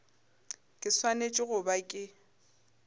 ke swanetše go ba ke